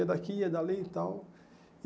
Ia daqui, ia dali e tal.